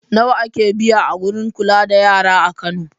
Nawa ake biya a wurin kula da yara a Kano?